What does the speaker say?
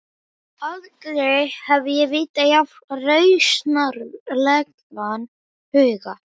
Aldrei hef ég vitað jafn rausnarlegan huga.